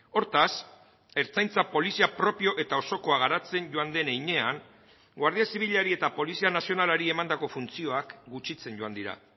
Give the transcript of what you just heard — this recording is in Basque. hortaz ertzaintza polizia propio eta osokoa garatzen joan den heinean guardia zibilari eta polizia nazionalari emandako funtzioak gutxitzen joan dira